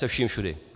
Se vším všudy.